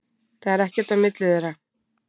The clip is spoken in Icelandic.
Það er ekkert á milli þeirra.